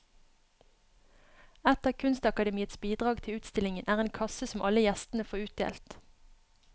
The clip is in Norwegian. Et av kunstakademiets bidrag til utstillingen er en kasse som alle gjestene får utdelt.